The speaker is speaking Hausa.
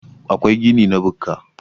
akwai gini na bukka